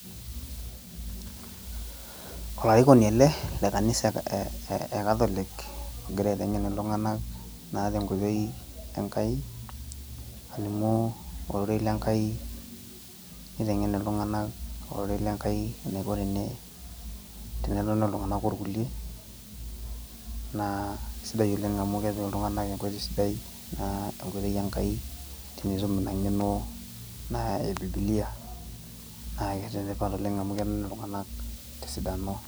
olarikoni ele naa le kanisa e catholic egira aetengen iltunganak naa te nkoitoi Enkai, alimu ororei le nkai, niteng'en iltunganak ororei le nkai. enaiko tenetoni iltunganak orkulie, naa sidai oleng amu kepik iltunganak enkoitoi sidai, naa enkoitoi Enkai tenitum ina ngeno naa ebiibilia. naa enetipatoleng amu kening iltunganak tesidano.